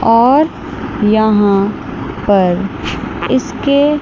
और यहां पर इसके--